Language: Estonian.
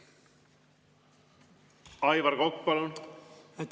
Aivar Kokk, palun!